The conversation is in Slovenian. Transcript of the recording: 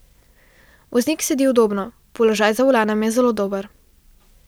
Voznik sedi udobno, položaj za volanom je zelo dober.